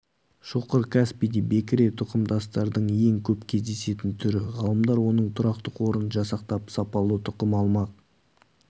шоқыр каспийде бекіре тұқымдастардың ең көп кездесетін түрі ғалымдар оның тұрақты қорын жасақтап сапалы тұқым алмақ